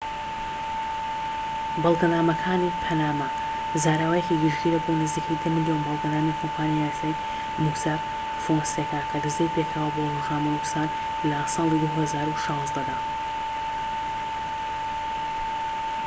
"بەڵگەنامەکانی پەنەما زاراوەیەکی گشتگیرە بۆ نزیکەی ١٠ ملیۆن بەڵگەنامەی کۆمپانیای یاسایی مۆساك فۆنسێکا کە دزەی پێکرا بۆ ڕۆژنامەنوسان لە ساڵی ٢٠١٦ دا